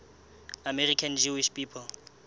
american jewish people